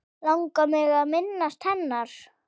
Langar mig að minnast hennar.